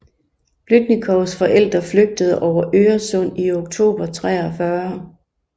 Blüdnikows forældre flygtede over Øresund i oktober 1943